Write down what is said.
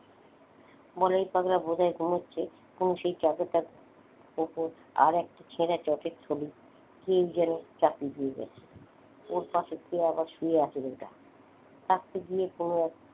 বলাই পাগলা বোধহয় ঘুমোচ্ছে তুমি কোনু সেই চাদরটা মত আরেকটা ছেড়া চটের থলি কে যেন চাপিয়ে দিয়ে গেছে। ওর পাশে কে আবার শুয়ে আছে গো ওটা? থাকতে গিয়ে কোন এক,